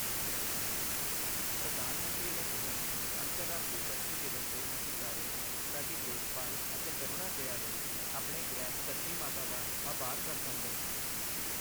ਪ੍ਰਧਾਨ ਮੰਤਰੀ ਨੇ ਕਿਹਾ, ਅੰਤਰਰਾਸ਼ਟਰੀ ਧਰਤੀ ਦਿਵਸ ਤੇ ਅਸੀਂ ਸਾਰੇ, ਸਾਡੀ ਦੇਖਭਾਲ਼ ਅਤੇ ਕਰੁਣਾ ਦਇਆ ਲਈ ਆਪਣੇ ਗ੍ਰਹਿ ਧਰਤੀ ਮਾਤਾ ਦਾ ਆਭਾਰ ਪ੍ਰਗਟਾਉਂਦੇ ਹਾਂ।